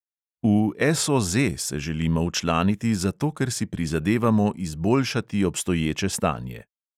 V SOZ se želimo včlaniti zato, ker si prizadevamo izboljšati obstoječe stanje.